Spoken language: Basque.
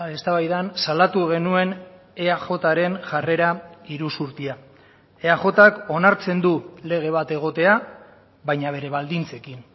eztabaidan salatu genuen eajren jarrera iruzurtia eajk onartzen du lege bat egotea baina bere baldintzekin